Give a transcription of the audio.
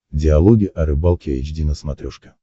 диалоги о рыбалке эйч ди на смотрешке